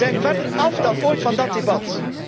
in. We zijn verder af dan ooit van dat debat.